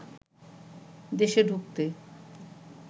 দেশে ঢুকতে